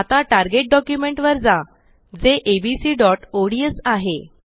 आता target document वर जा जे abcओडीएस आहे